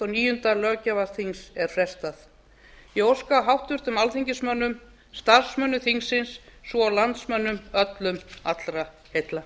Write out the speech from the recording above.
níunda löggjafarþings er frestað ég óska háttvirtum alþingismönnum starfsmönnum þingsins svo og landsmönnum öllum allra heilla